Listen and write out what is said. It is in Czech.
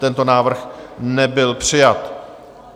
Tento návrh nebyl přijat.